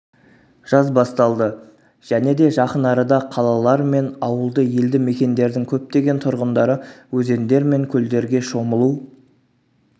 жаз басталды және де жақынарада қалалар мен ауылды елді мекендердің көптеген тұрғындары өзендер мен көлдерге шомылу